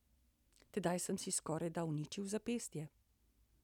Tedaj sem si skorajda uničil zapestje.